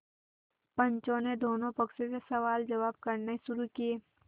पंचों ने दोनों पक्षों से सवालजवाब करने शुरू किये